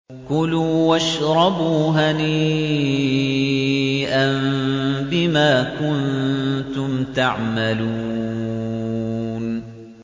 كُلُوا وَاشْرَبُوا هَنِيئًا بِمَا كُنتُمْ تَعْمَلُونَ